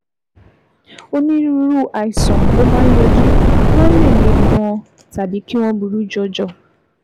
Onírúurú àìsàn ló máa ń yọjú, wọ́n lè le gan-an tàbí kí wọ́n burú jọjọ